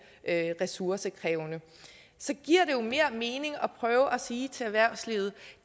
ressourcekrævende så giver det jo mere mening at prøve at sige til erhvervslivet